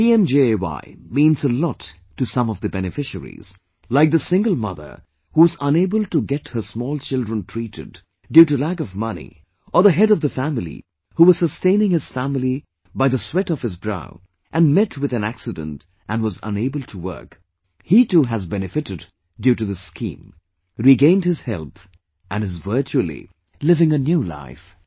'PMJAY' means to some of the beneficiaries, like the single mother whose unable to set her small children treated due to lack of money or the head of the family who was sustaining his family by the sweat of his brow and met with an accident and was unable to work, he too has benefitted due to this scheme, regained his health and is virtually living a new life